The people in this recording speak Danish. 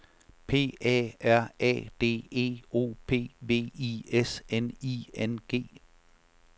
P A R A D E O P V I S N I N G